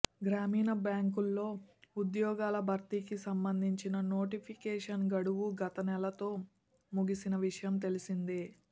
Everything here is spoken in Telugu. గ్రామీణ బ్యాంకుల్లో ఉద్యోగాల భర్తీకి సంబంధించిన నోటిఫికేషన్ గడువు గతనెలతో ముగిసిన విషయం తెలిసిందే